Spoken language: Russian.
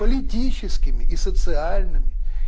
политическими и социальными